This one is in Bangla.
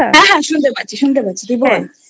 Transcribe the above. হ্যা হ্যা শুনতে পাচ্ছি শুনতে পাচ্ছি তুই বল।